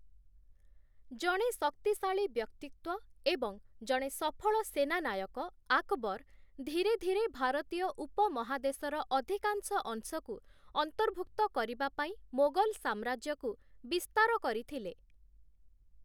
ଜଣେ ଶକ୍ତିଶାଳୀ ବ୍ୟକ୍ତିତ୍ୱ ଏବଂ ଜଣେ ସଫଳ ସେନାନାୟକ, 'ଆକବର' ଧୀରେ ଧୀରେ ଭାରତୀୟ ଉପମହାଦେଶର ଅଧିକାଂଶ ଅଂଶକୁ ଅନ୍ତର୍ଭୁକ୍ତ କରିବା ପାଇଁ ମୋଗଲ ସାମ୍ରାଜ୍ୟକୁ ବିସ୍ତାର କରିଥିଲେ ।